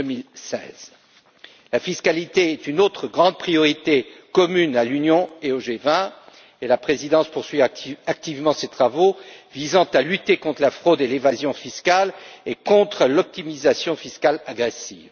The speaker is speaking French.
2016. La fiscalité est une autre grande priorité commune à l'Union et au G20 et la présidence poursuit activement ses travaux visant à lutter contre la fraude et l'évasion fiscale et contre l'optimisation fiscale agressive.